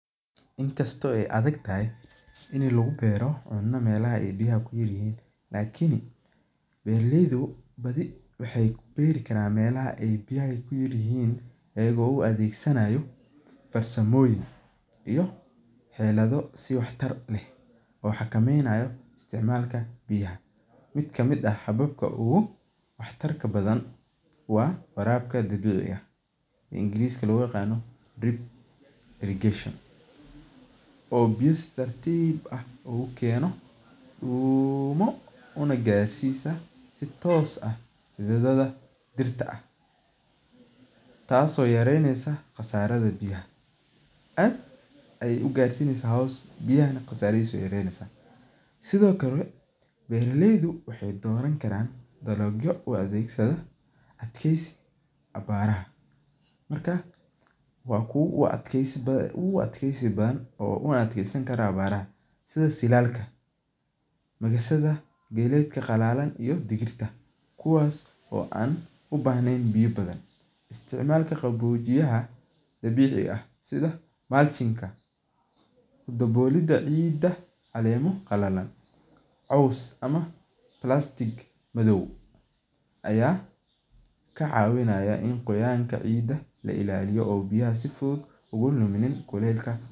Inkasto ee adagtahay in lagu beero cuno melaha biya ee ku yar yihin lakin beera leydu badii waxee beri karan melaha biyaha ee ku yar yihin iyaga oo xilayoyin iyo tayo leh oo xakameynayo biyaha, miid kamiid ah waa warabka biyaha oo ingiriska loga yaqano drip irrigation oo biya si tartib ah ogu keno una garsiya si tos ah xiliyada dirta ah, tas oo yareynesa qasaraha biyaha aad iyey ugarsineysa biyaha nah gasarihisa we yareynesa sithokale bera leydu waxee doran karan balogyo adegsadho abaraha marka waa kuwa ogu adgeysi badan ma adkeysan karan xiliga abarta sitha bixisada geedka qalalan iyo digirta kuwas oo an u bahnen biyo badan isticmalka qawojiyaha biyaha ah dawoliida ciida calemo qalalan cos ama plastic madow aya ka cawinaya in qoyanka ciida la ilaliyo oo biyaha si fuduud oga ilaliya.